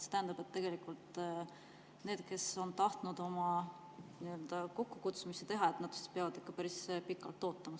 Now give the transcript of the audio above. See tähendab, et tegelikult need, kes on tahtnud oma kokkukutsumisi teha, peavad ikka päris pikalt ootama.